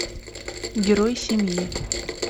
герой семьи